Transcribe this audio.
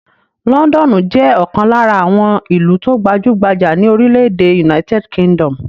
Lọ́ńdọ́nù jẹ́ ọ̀kan lára àwọn ìlú tó gbajú-gbajà ní orílẹ̀-èdè United Kingdom.